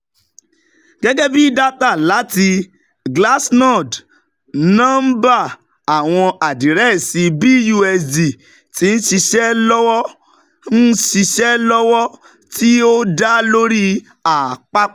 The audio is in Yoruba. Gẹgẹbi data lati Glassnode, nọmba awọn adirẹsi BUSD ti nṣiṣe lọwọ, nṣiṣe lọwọ, ti o da lori apapọ